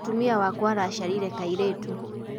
Mũtumia wakwa araciarire kairĩtu.